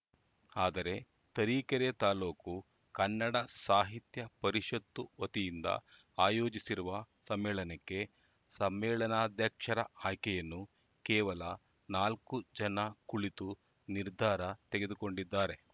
ಆದರೆ ತರೀಕೆರೆ ತಾಲೂಕು ಕನ್ನಡ ಸಾಹಿತ್ಯ ಪರಿಷತ್ತು ವತಿಯಿಂದ ಆಯೋಜಿಸಿರುವ ಸಮ್ಮೇಳನಕ್ಕೆ ಸಮ್ಮೇಳನಾಧ್ಯಕ್ಷರ ಆಯ್ಕೆಯನ್ನು ಕೇವಲ ನಾಲ್ಕು ಜನ ಕುಳಿತು ನಿರ್ಧಾರ ತೆಗೆದುಕೊಂಡಿದ್ದಾರೆ